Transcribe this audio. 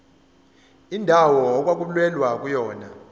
indawo okwakulwelwa kuyona